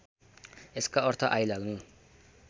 यसका अर्थ आइलाग्नु